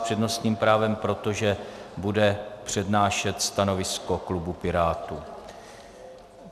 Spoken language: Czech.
S přednostním právem, protože bude přednášet stanovisko klubu Pirátů.